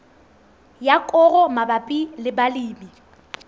ya koro mabapi le balemi